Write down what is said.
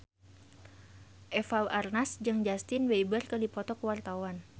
Eva Arnaz jeung Justin Beiber keur dipoto ku wartawan